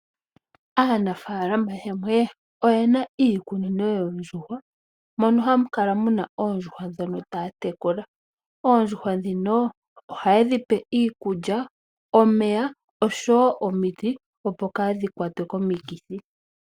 Aanafaalama yamwe oyena iikunino yoondjuhwa, mono hamu kala muna oondjuhwa ndhono taya tekula. Oondjuhwa ndhino ohaye dhi pe iikulya, omeya, osho wo omiti opo kaadhi kwatwe komikithi.